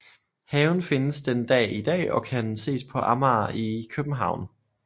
Haven findes den dag i dag og kan ses på Amager i København